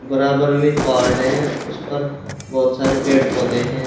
बराबर में पहाड़ हैं उस पर बहुत सारे पेड़ पौधे हैं।